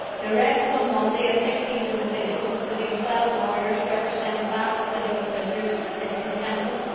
The arrest on Monday of 16 individuals, including 12 lawyers representing Basque political prisoners, was contemptible.